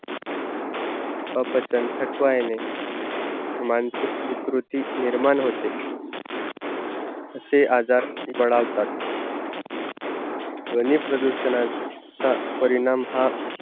अपचन, थकवा येणे मानसिक विकृती निर्माण होते, तसे आजार बढावतात ध्वनी प्रदूषणाचा परिणाम हा